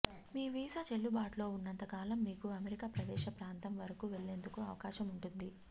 మీ visa చెల్లుబాటులో ఉన్నంత కాలం మీరు అమెరికా ప్రవేశ ప్రాంతం వరకు వెళ్లేందుకు అవకాశముంటుంది